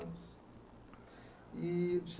E